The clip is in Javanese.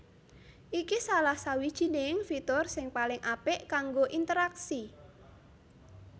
Iki salah sawijining fitur sing paling apik kanggo interaksi